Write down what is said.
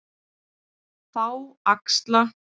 Þá axla